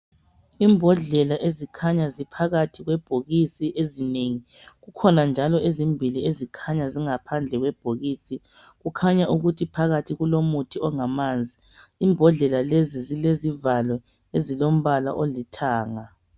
Imbodlela ezikhanya ziphakathi kwebhokisi ezinengi, kukhona njalo ezimbili ezikhanya zingaphandle kwebhokisi. Kukhanya ukuthi phakathi kulomuthi ongamazi, imbodlela lezi zilezivalo ezilombalo olithanga.